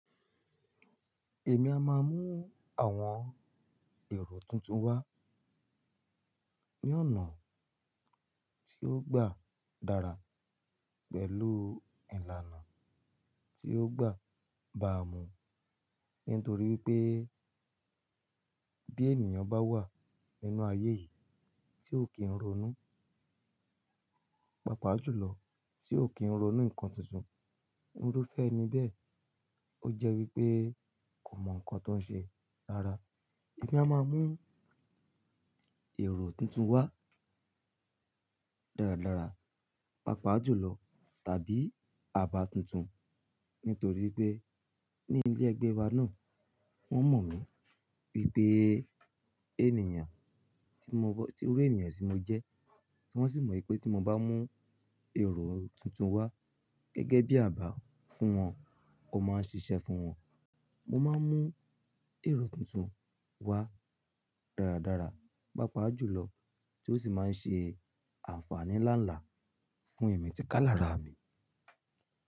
Èmi a máa mú àwọn èrò tuntun wá ní ọ̀nà tí ó gbà dára pẹ̀lú ìlànà tí ó gbà bà mú. Nítorí pé bí ènìyàn bá wà nínú ayé yìí tí ó kì ń ronú, pàápàá jùlọ tí ó kì ń ronú nǹkan tuntun, irúfẹ́ ni bẹ́ẹ̀. Ó jẹ́ wípé kò mọ ǹkan tó ń ṣe rára. Èmi a máa mú èrò tuntun wá dáradára, pàápàá jùlọ tàbí àbá tuntun. Nítorí pé ní ilé ẹgbẹ́ wa náà wọ́n mọ̀ mí pé pé ènìyàn tí mo-- irú ènìyàn tí mo jẹ́. Wọ́n sì mọ wìpé tí mo bá mú èrò tuntun wá gẹ́gẹ́ bí àbá fún wọn, ó máa ń ṣiṣẹ́ fún wọn. Mo máa ń mú èrò tuntun wá dáradára, pàápàá jùlọ tí ó sì máa ń ṣe àǹfààní láǹlá fún ẹ̀mí ti ká làrà mi.